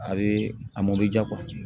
A bɛ a mɔbili ja